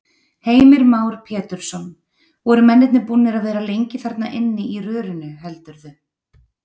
Heimir Már Pétursson: Voru mennirnir búnir að vera lengi þarna inni í rörinu heldurðu?